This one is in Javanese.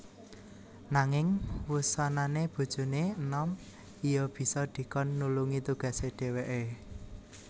Nanging wusanané bojoné enom iya bisa dikon nulungi tugasé dhèwèké